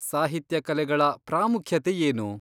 ಸಾಹಿತ್ಯ ಕಲೆಗಳ ಪ್ರಾಮುಖ್ಯತೆ ಏನು?